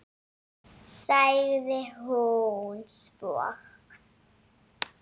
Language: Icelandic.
sagði hún svo.